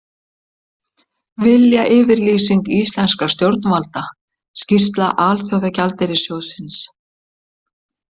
Viljayfirlýsing íslenskra stjórnvalda Skýrsla Alþjóðagjaldeyrissjóðsins